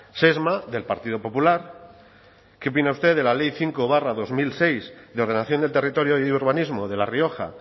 sesma del partido popular qué opina usted de la ley cinco barra dos mil seis de ordenación del territorio y urbanismo de la rioja